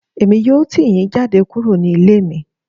Èmi yóò tì yín jáde kúrò ní ilé mi